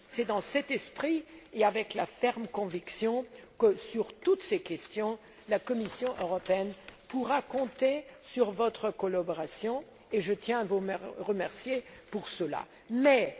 C'est dans cet esprit que nous travaillons, avec la ferme conviction que, sur toutes ces questions, la Commission européenne pourra compter sur votre collaboration, et je tiens à vous en remercier d'avance.